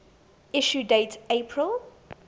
issue date april